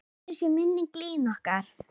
Blessuð sé minning Línu okkar.